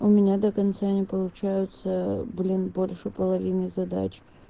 ну у меня до конца не получаются блин больше половины задач